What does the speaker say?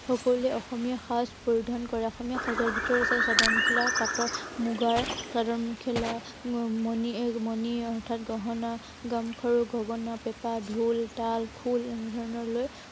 সকলোৱে অসমীয়া সাজ পৰিধান কৰে। অসমীয়া সাঁজত ভিতৰত আছে, চাদৰ মেখেলা, পাটৰ মুগাৰ চাদৰ মেখেলা, এৰ মনি এৰ অৰ্থাৎ গহনা। গামখাৰু, গগনা, পেঁপা, ঢোল, তাল, খোল এনে ধৰনৰ লৈ